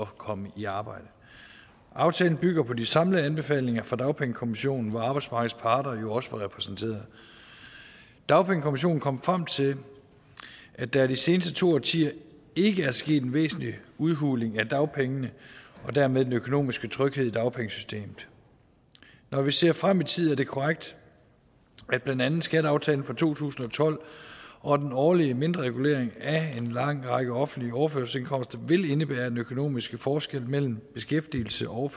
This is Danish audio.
komme i arbejde aftalen bygger på de samlede anbefalinger fra dagpengekommissionen hvor arbejdsmarkedets parter jo også var repræsenteret dagpengekommissionen kom frem til at der i de seneste to årtier ikke er sket en væsentlig udhuling af dagpengene og dermed den økonomiske tryghed i dagpengesystemet når vi ser frem i tid er det korrekt at blandt andet skatteaftalen fra to tusind og tolv og den årlige mindre regulering af en lang række offentlige overførselsindkomster vil indebære at den økonomiske forskel mellem beskæftigelse og